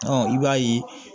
i b'a ye